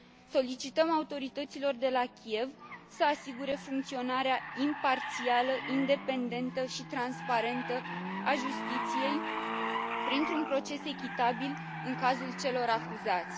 Solicităm autorităților de la Kiev să asigure funcționarea imparțială, independentă și transparentă a justiției printr un proces echitabil în cazul celor acuzați.